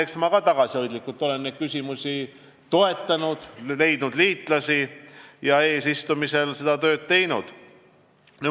Eks ma olen tagasihoidlikult nendes küsimustes ettevõtmisi toetanud, leidnud liitlasi ja eesistumise ajal seda tööd teinud.